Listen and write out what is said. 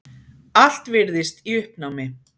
Allt virðist í uppnámi.